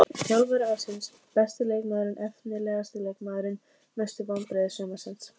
Þjálfari ársins Besti leikmaðurinn Efnilegasti leikmaðurinn Mestu vonbrigði sumarsins?